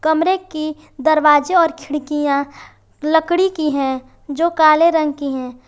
कमरे की दरवाजा और खिड़कियां लकड़ी की है जो काले रंग की हैं।